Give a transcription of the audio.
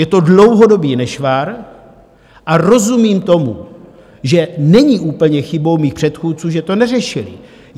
Je to dlouhodobý nešvar a rozumím tomu, že není úplně chybou mých předchůdců, že to neřešili.